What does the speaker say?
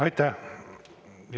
Aitäh!